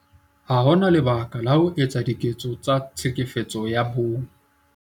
Ha ho na lebaka la ho etsa diketso tsa Tlhekefetso ya Bong